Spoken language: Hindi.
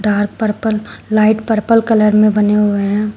Dark purple light purple colour में बने हुए हैं।